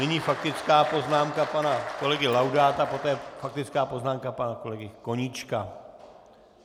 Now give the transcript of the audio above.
Nyní faktická poznámka pana kolegy Laudáta, poté faktická poznámka pana kolegy Koníčka.